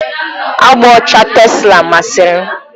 Agba ọcha tesla masịrị m.